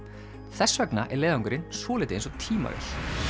þess vegna er leiðangurinn svolítið eins og tímavél